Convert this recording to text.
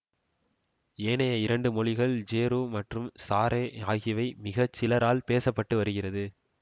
ஏனைய இரண்டு மொழிகள் ஜேரு மற்றும் சாரே ஆகியவை மிக சிலரால் பேச பட்டு வருகிறது